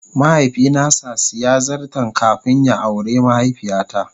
mahaifi na sa siya zarton kafin ya awre mahaifiya ta.